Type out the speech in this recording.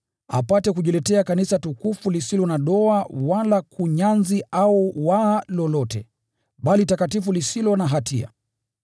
apate kujiletea Kanisa tukufu lisilo na doa wala kunyanzi au waa lolote, bali takatifu na lisilo na hatia.